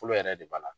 Fɔlɔ yɛrɛ de b'a la